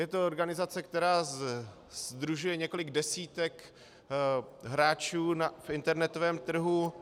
Je to organizace, která sdružuje několik desítek hráčů v internetovém trhu.